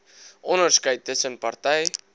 onderskeid tussen party